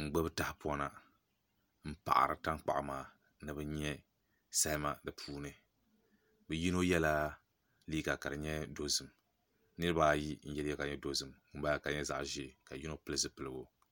n gbubi tahapona n paɣari tankpaɣu maa ni bi nyɛ salima di puuni bi yino yɛla liiga ka di nyɛ dozim niraba ayi n yɛ liiga ka di nyɛ dozim ŋunbala ka di nyɛ zaɣ ʒiɛ ka yino pili zipiligu